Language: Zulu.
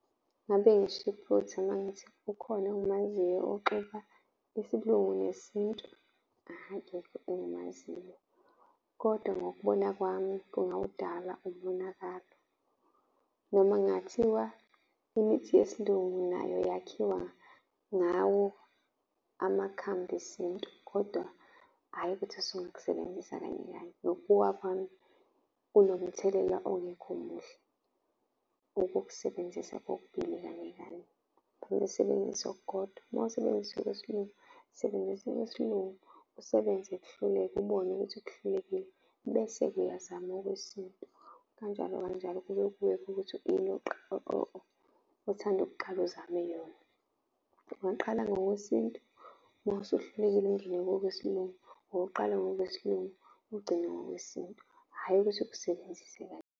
Ngabe ngisho iphutha uma ngithi ukhona engimaziyo oxuba isiLungu nesintu. Akekho engimaziyo, kodwa ngokubona kwami kungawudala umonakalo noma kungathiwa imithi yesiLungu nayo yakhiwa ngawo amakhambi esintu, kodwa hhayi ukuthi usungakusebenzisa kanye kanye. Ngokubuka kwami, kunomthelela ongekho muhle ukukusebenzisa kokubili kanye kanye, usebenzisa okukodwa. Uma usebenzisa okwesiLungu sebenzisa okwesilungu kusebenze kuhluleka ubone ukuthi kuhlulekile bese-ke uyazama okwesintu. Kanjalo kanjalo kube kuwena ukuthi ini othanda ukuqala uzame yona. Ungaqala ngowesintu uma usuhlulekile ungene kowesiLungu, ungaqala ngowesiLungu, ugcine kowesintu, hhayi ukuthi ukusebenzise kanye.